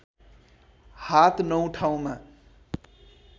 हात नौ ठाउँमा